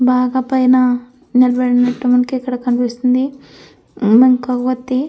బాగా పైన నిలబడినట్టు మనకి ఇక్కడ కనిపిస్తుంది. మన కొవ్వొత్తి --